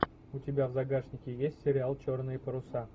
у тебя в загашнике есть сериал черные паруса